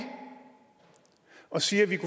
og siger at vi